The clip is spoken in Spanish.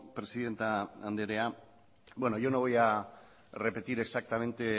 presidente andrea yo no voy a repetir exactamente